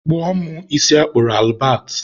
kpụọ mụ isi a kpụrụ Albert.